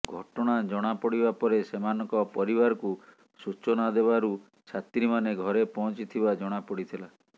ଘଟଣା ଜଣାପଡିବା ପରେ ସେମାନଙ୍କ ପରିବାରକୁ ସୂଚନା ଦେବାରୁ ଛାତ୍ରୀମାନେ ଘରେ ପହଞ୍ଚିଥିବା ଜଣାପଡିଥିଲା